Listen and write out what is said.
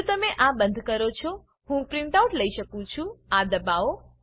જો તમે આ બંધ કરો છો હું પ્રીંટઆઉટ લઇ શકું છું આ દબાવો